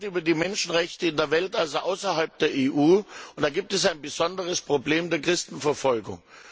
Wir reden heute über die Menschenrechte in der Welt, also außerhalb der EU, und da gibt es ein besonderes Problem der Christenverfolgung.